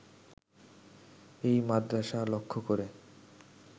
এই মাদ্রাসা লক্ষ্য করে